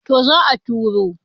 to za a turo